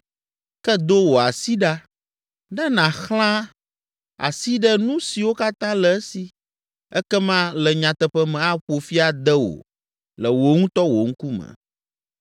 Ke do wò asi ɖa, ne nàxlã asi ɖe nu siwo katã le esi, ekema le nyateƒe me aƒo fi ade wò le wò ŋutɔ wò ŋkume.”